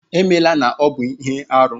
Emela na ọ bụ ihe arụ!